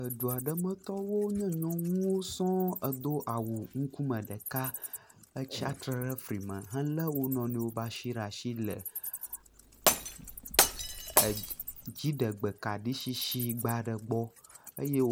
Edu aɖe metɔwo nye nyɔnuwo sɔŋ hedo awu ŋkume ɖeka, etsatsitre ɖe fli me, helé wo nɔ nɔewo be asi le asi le dziɖegbe kaɖi tsitsi gba ɖe gbɔ.